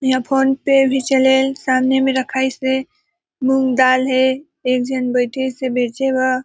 इहा फ़ोन पे भी चले सामने में रखाइसे मूंगदाल है एक झन बैठे से बेचे ब --